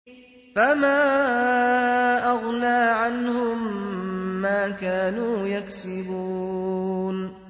فَمَا أَغْنَىٰ عَنْهُم مَّا كَانُوا يَكْسِبُونَ